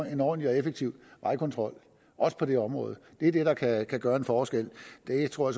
en ordentlig og effektiv vejkontrol også på det område det er det der kan kan gøre en forskel det tror